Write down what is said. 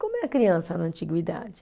Como é a criança na antiguidade?